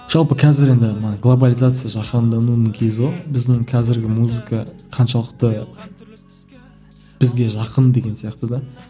жалпы қазір енді мана глобализация жаһандануының кезі ғой біздің қазіргі музыка қаншалықты бізге жақын деген сияқты да